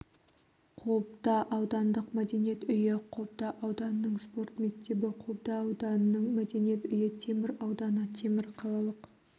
қобда аудандық мәдениет үйі қобда ауданының спорт мектебі қобда ауданының мәдениет үйі темір ауданы темір қалалық